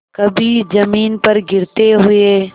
कभी जमीन पर गिरते हुए